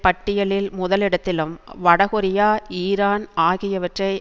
பட்டியலில் முதலிடத்திலும் வடகொரியா ஈரான் ஆகியற்றை